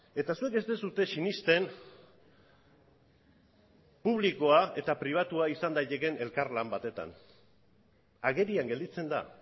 eta zuek ez duzue sinesten publikoa eta pribatua izan daitekeen elkarlan batetan agerian gelditzen da